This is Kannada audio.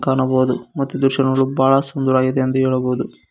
ಕಾಣಬಹುದು ಮತ್ತು ಈ ದೃಶ್ಯ ನೋಡಲು ಬಹಳ ಸುಂದರವಾಗದೆ ಎಂದು ಹೇಳಬಹುದು.